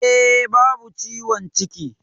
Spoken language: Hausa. E, babu ciwon ciki.